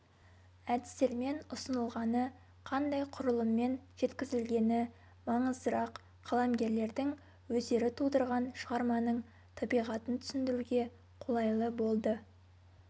әдістермен ұсынылғаны қандай құрылыммен жеткізілгені маңыздырақ қаламгерлердің өздері тудырған шығарманың табиғатын түсіндіруге қолайлы болды